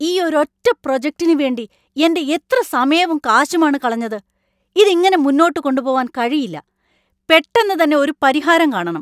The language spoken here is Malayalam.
ഈ ഒരൊറ്റ പ്രൊജക്ടിന് വേണ്ടി എൻ്റെ എത്ര സമയവും കാശുമാണ് കളഞ്ഞത്? ഇതിങ്ങനെ മുന്നോട്ട് കൊണ്ടുപോവാൻ കഴിയില്ല. പെട്ടെന്ന് തന്നെ ഒരു പരിഹാരം കാണണം.